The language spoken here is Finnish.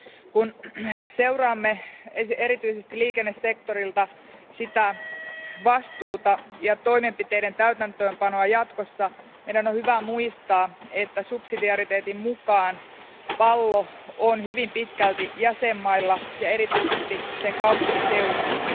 Kun seuraamme erityisesti liikennesektorilta sitä vastuuta ja toimenpiteiden täytäntöönpanoa jatkossa, meidän on hyvä muistaa, että subsidiariteetin mukaan pallo on hyvin pitkälti jäsenmailla ja erityisesti niiden kaupunkiseuduilla.